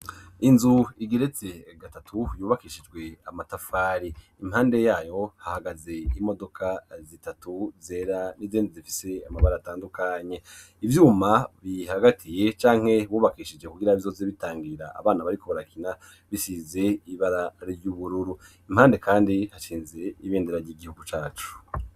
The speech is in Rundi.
Inzu igeretse gatatu yubakishijwe amatafari. Impande yayo hahagaze imodoka zitatu zera , n'izindi zifise amabara atandukanye. Ivyuma bihagatiye canke bubakishije kugira bizoze bitangira abana bariko barakina, bisize ibara ry'ubururu. Impande kandi hashinze ibendera ry'igihugu cacu.